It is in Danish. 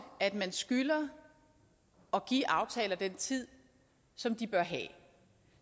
at man skylder at give aftaler den tid som de bør have